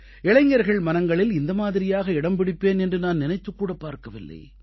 இளைஞர்கள் மனங்களில் இந்த மாதிரியாக இடம் பிடிப்பேன் என்று நான் நினைத்துக் கூடப் பார்க்கவில்லை